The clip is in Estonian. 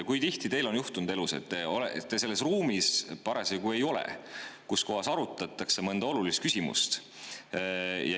Kui tihti teil on juhtunud elus, et te ei olnud parasjagu selles ruumis, kus arutati mõnda olulist küsimust,.